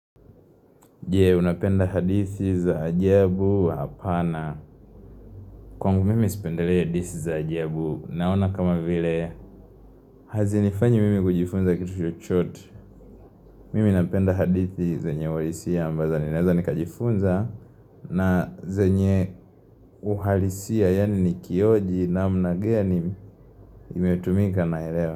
Je unapenda hadithi za ajabu hapana Kwangu mimi sipendelei hadithi za ajabu Naona kama vile Hazi nifany mimi kujifunza kitu chochote Mimi napenda hadithi zenye walisia ambazo ninaweza nikajifunza na zenye uhalisia yani nikioji namna gani nimetumika naelewa.